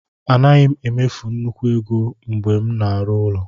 Anaghị m emefu nnukwu ego mgbe m na-arụ ụlọ.